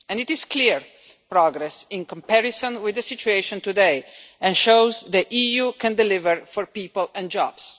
This is clear progress in comparison with the situation today and it shows that the EU can deliver for people and jobs.